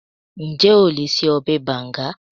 Ǹjẹ́ o lè ṣe ọbẹ̀ bànga?